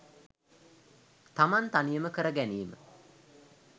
තමන් තනියම කරගැනීම